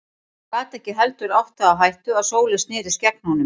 Hann gat ekki heldur átt það á hættu að Sóley snerist gegn honum.